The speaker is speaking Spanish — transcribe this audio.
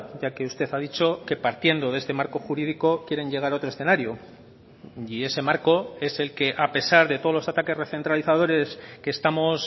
ya que usted ha dicho que partiendo de este marco jurídico quieren llegar a otro escenario y ese marco es el que a pesar de todos los ataques recentralizadores que estamos